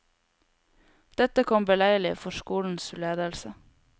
Dette kom beleilig for skolens ledelse.